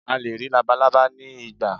a lè rí labalábá ni igba